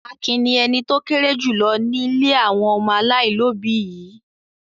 Akin ni ẹni tó kéré jù lọ ní ilé àwọn ọmọ aláìlóòbí yìí.